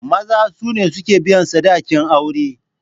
Maza sune suke biyan sadakin aure.